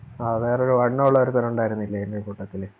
വേറൊരു വണ്ണവുള്ളൊരുത്തൻ ഉണ്ടായിരുന്നില്ലേ എൻറെ കൂട്ടത്തില്